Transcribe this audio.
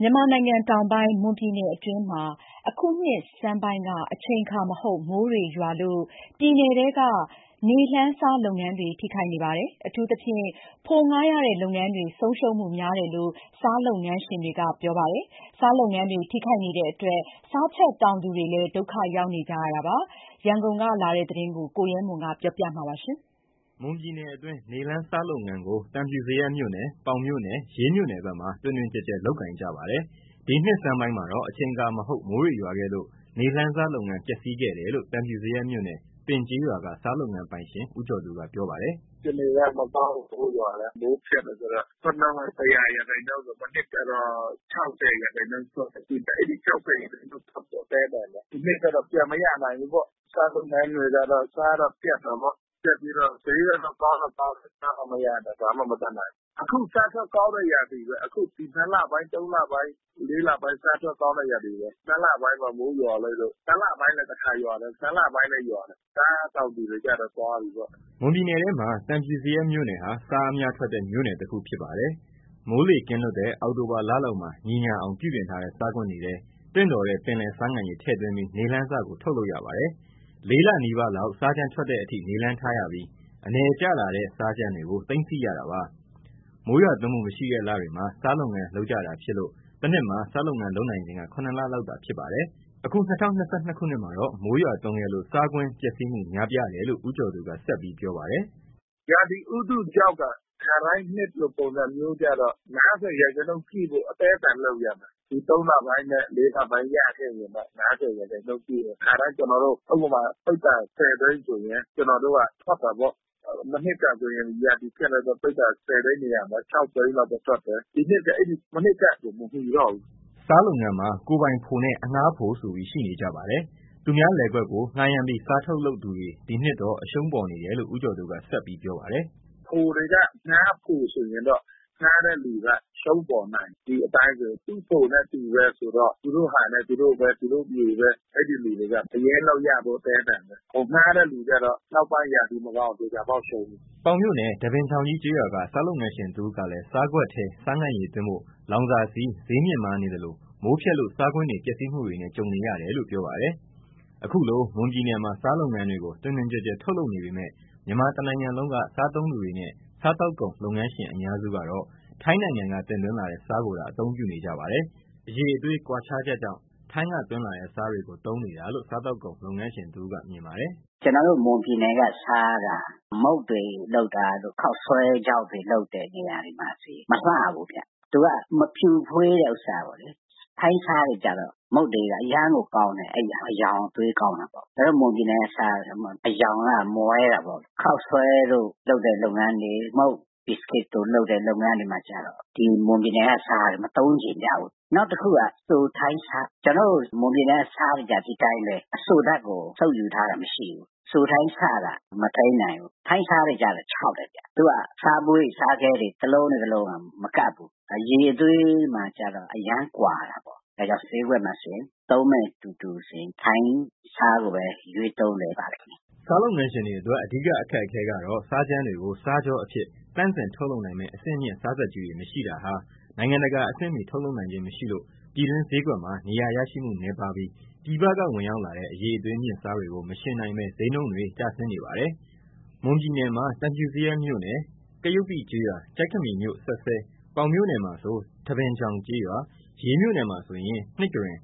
မြန်မာနိုင်ငံတောင်ပိုင်း မွန်ပြည်နယ်အတွင်းမှာ အခုနှစ်ဆန်းပိုင်းက အချိန်အခါမဟုတ် မိုးတွေရွာလို့ ပြည်နယ်ထဲက နေလှန်းဆား လုပ်ငန်းတွေ ထိခိုက်နေပါတယ်။ အထူးသဖြင့် ဖိုငှားရတဲ့လုပ်ငန်းတွေ ဆုံးရှုံးမှုများတယ်လို့ ဆားလုပ်ငန်းရှင်တွေက ပြောပါတယ်။ ဆားလုပ်ငန်းတွေ ထိခိုက်နေတဲ့အတွက် ဆားချက်တောင်သူတွေလည်း ဒုက္ခရောက်နေကြပါတယ်။ မွန်ပြည်နယ်ဘက်က ဆားလုပ်ငန်းတွေ အခက်ကြုံနေတဲ့ အခြေအနေအကြောင်း ရန်ကုန်ကလာတဲ့သတင်းကို ကိုရဲမွန် ကတင်ပြပါမယ်။ မွန်ပြည်နယ်အတွင်း နေလှန်းဆားလုပ်ငန်းကို သံဖြူဇရပ်မြို့နယ်၊ ပေါင်မြို့နယ်၊ ရေးမြို့နယ်ဘက်မှာ တွင်တွင်ကျယ်ကျယ် လုပ်ကိုင်ကြပါတယ်။ ဒီနှစ်ဆန်းပိုင်းမှာတော့ အချိန်အခါမဟုတ် မိုးတွေရွာခဲ့လို့ နေလှန်းဆားလုပ်ငန်းပျက်စီးခဲ့တယ်လို့ သံဖြူဇရပ်မြို့နယ် ပင်ကျေးရွာက ဆားလုပ်ငန်းပိုင်ရှင်ဦးကျော်သူကပြောပါတယ်။ “ အခြေအနေကမကောင်းဘူး။ မိုးရွာတယ်။ မိုးဖျက်တယ်ဆိုတော့ ထွက်နှုန်းက (၁၀၀) ရာခိုင်နှုန်းဆို မနှစ်က တော့ (၆၀) ရာခိုင်နှုန်းထွက်တယ်။ အခု အဲဒီ (၆၀) ရာခိုင်နှုန်းထွက်ဖို့အသည်းအသန်ဘဲ။ ဒီနှစ်ကတော့ပြန်မရနိုင်ဘူးပေါ့။ ဆားလုပ်ငန်းကတော့ ဆားတော့ပျက်တာပေါ့။ ပျက်ပြီးတော့ ဈေးကတော့ ကောင်းတော့ကောင်းတယ်။ ဆားမှမရတော့ ဘာမှမတတ်နိုင်ဘူး။ အခုဆားထွက်ကောင်းတဲ့ရာသီဘဲ။ အခုနှစ်လပိုင်း၊သုံးလပိုင်း၊လေးလပိုင်း ဆားထွက်ကောင်းတဲ့ ရာသီဘဲ။ နှစ်လပိုင်းပေါ့ ၊ မိုးရွာလိုက်လို့။ တလပိုင်းလဲတခါရွာတယ်။ နှစ်လပိုင်းလဲရွာတယ်။ ဆားတောင်သူတွေကတော့ သွားပြီးပေါ့။” မွန်ပြည်နယ်ထဲမှာ သံဖြူဇရပ်မြို့နယ်ဟာ ဆားအများထွက်တဲ့ မြို့နယ်တခုဖြစ်ပါတယ်။ မိုးလေကင်းလွတ်တဲ့ အောက်တိုဘာလလောက်မှာ ညီညာအောင် ပြုပြင်ထားတဲ့ ဆားကွင်းတွေထဲ သင့်တော်တဲ့ ပင်လယ်ဆားငံရေ ထည့်သွင်းပြီး နေလှန်းဆားကို ထုတ်လုပ်ရပါတယ်။ လေးလနီးပါးလောက် ဆားကြမ်းထွက်တဲ့အထိ နေလှန်းထားရပြီး၊ အနယ်ကျလာတဲ့ ဆားကြမ်းတွေကို သိမ်းဆည်းရတာပါ။ မိုးရွာသွန်းမှု မရှိတဲ့လတွေမှာ ဆားလုပ်ငန်းကို လုပ်ကြတာဖြစ်လို့ တနှစ်မှာ ဆားလုပ်ငန်း လုပ်နိုင်ချိန်က ၇ လလောက်သာဖြစ်ပါတယ်။ အခု ၂၀၂၂ ခုနှစ်မှာတော့ မိုးရွာသွန်းခဲ့လို ဆားကွင်းပျက်စီးမှုများပြားတယ်လို့ ဦးကျော်သူက ဆက်ပြောပါတယ်။ “ ရာသီဥတုကြောင့်သာ ခါတိုင်းနှစ်လိုပုံစံမျိုးကျတော့ (၅၀) ရာခိုင်နှုန်းရှိဖို့ အသည်းအသန်လုပ်ရမယ်။ ဒီသုံးလပိုင်းနဲ့ လေးလပိုင်းရခဲ့ရင်တော့။ (၅၀) ရာခိုင်နှုန်းပြည့်မယ်။ ခါတိုင်းကျွန်တော်တို့ ဥပမာ ပိဿာ (၁၀) သိန်းဆိုရင် ကျွန်တော်တို့ ကထွက်တာပေါ့။ မနှစ်ကဆိုရင် ရာသီဖျက်တဲ့အတွက် ပိဿ (၁၀)သ ိန်းနေရာမှာ (၆)သိန်းလောက်ဘဲထွက်တယ်။ ဒီနှစ်တော့ မနှစ်ကလို မမီတော့ဘူး ” ဆားလုပ်ငန်းမှာ ကိုယ်ပိုင်ဖိုနဲ့ အငှားဖိုဆိုပြီးရှိနေကြပါတယ်။ သူများလယ်ကွက်ကို ငှားရမ်းပြီး ဆားထုတ်လုပ်သူတွေ ဒီနှစ်တော့ အရှုံးပေါ်နေတယ်လို့ ဦးကျော်သူကဆက်ပြောပါတယ်။ “ ဖိုတွေက အငှားဖိုဆိုရင်တော့ ငှားတဲ့သူကအရှုံးပေါ်နိုင်တယ်။ ဒီအတိုင်းဆိုရင်။ သူဖိုနဲ့သူဘဲဆိုတော့ သူတို့ဟာနဲ့ သူတို့ဘဲ သူတို့မြေဘဲ ။ အဲဒီလူတွေကအရင်းလောက်ရဖို့အသည်းအသန်ဘဲ။ ဖိုငှားတဲ့သူကျတော့ နောက်ပိုင်းရာသီမှာတော့ သေချာပေါက်ရှုံးပြီး။ ” ပေါင်မြို့နယ် ထန်းပင်ချောင်ကြီးကျေးရွာက ဆားလုပ်ငန်းရှင်တဦးကလဲ ဆားကွက်ထဲ ဆားငံရေသွင်းဖို့ လောင်စာဆီ ဈေးမြင့်မားနေသလို မိုးဖျက်လို့ ဆားကွင်းတွေပျက်စီးမှုတွေနဲ့ကြုံနေရတယ်လို့ပြောပါတယ်။ အခုလို မွန်ပြည်နယ်မှာ ဆားလုပ်ငန်းတွေကို တွင်တွင်ကျယ်ကျယ် ထုတ်လုပ်နေပေမဲ့ မြန်မာတနိုင်ငံလုံးက စားသုံးသူတွေနဲ့ စားသောက်ကုန်လုပ်ငန်းရှင် အများစုကတော့ ထိုင်းနိုင်ငံက တင်သွင်းလာတဲ့ ဆားကိုသာ အသုံးပြုနေကြပါတယ်။ အရည်အသွေးကွာခြားချက်ကြောင့် ထိုင်းကသွင်းလာတဲ့ ဆားတွေကိုသုံးနေရတာလို့ စားသောက်ကုန် လုပ်ငန်း ရှင်တဦး ကမြင်ပါတယ်။ “ ကျွန်တော်တို့ မွန်ပြည်နယ်ကဆားက မုန့်တွေလုပ်တာတို့ ခေါက်ဆွဲခြောက်တွေလုပ်တဲ့နေရာမှာ မလှဘူးဗျ။ သူက မဖြူဖွေးတဲ့ဥစ္စာပေါ့လေ။ ထိုင်းဆားတွေကတော့ မုန့်တွေဘာတွေအရမ်းကောင်းတယ်။ အရောင်အသွေးကောင်းတာပေါ့။ ကျွန်တော်တို့ မွန်ပြည်နယ်ကဆားက အရောင်ကမွဲတာပေါ့။ ခေါက်ဆွဲတို့လုပ်တဲ့လုပ်ငန်းတွေ ၊ မုန့်ဘီစကစ်စို့လုပ်တဲ့ လုပ်ငန်း တွေမှာ မွန်ပြည်နယ်က ဆားကိုမသုံးချင်ကြဘူး။ နောက်တခုက စိုထိုင်းဆ။ကျွန်တော်တို့မွန်ပြည်နယ်က ဆားတွေကျတော့ ဒီအတိုင်းဘဲ အစိုဓါတ်ကို စုပ်ယူထားတာမရှိဘူး။ စိုထိုင်းဆက မထိန်းနိုင်ဘူး။ ထိုင်းဆားတွေကတော့ခြောက်တယ်ဗျ။ သူကဆားပွင့်ဆားခဲတွေ တလုံးနဲ့တလုံးကမကပ်ဘူး။ အရည်အသွေးမှာကျတော့အရမ်းကွာတာပေါ့။ ဒါကြောင့် ဈေးကွက်မှာဆိုရင် သုံးမဲ့သူတွေဆိုရင် ထိုင်းဆားကိုဘဲရွေးသုံးနေပါတယ်။ ” ဆားလုပ်ငန်းရှင်တွေအတွက် အဓိက အခက်အခဲကတော့ ဆားကြမ်းတွေကို ဆားချောအဖြစ် သန့်စင်ထုတ်လုပ်နိုင်မဲ့ အဆင့်မြှင့် ဆားစက်ကြီးတွေ မရှိတာဟာ နိုင်ငံတကာအဆင့်မီထုတ်လုပ်နိုင်ခြင်းမရှိလို့ ပြည်တွင်းဈေးကွက်မှာ နေရာရရှိမှုနည်းပါးပြီး ပြည်ပကဝင်ရောက်လာတဲ့ အရည်အသွေးမြင့်ဆားတွေကို မယှဉ်နိုင်ဘဲ ဈေးနှုန်းတွေ ကျဆင်း နေပါတယ်။ မွန်ပြည်နယ်မှာ သံဖြူဇရပ်မြို့နယ် ပငကျေးရွာ ကရုပ္ပိကျေးရွာ ကျိုက်ခမီမြို့စက်စဲ၊ ပေါင်မြို့နယ်မှာဆို ထန်းပင်ချောင်ကျေးရွာ၊ ရေးမြို့နယ်မှာဆိုရင် နှစ်ကရင်၊